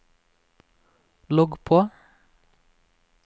logg på